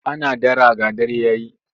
Ana dara ga dare ya yi.